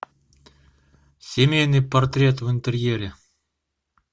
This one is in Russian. семейный портрет в интерьере